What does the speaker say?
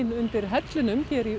undir hellunum hér í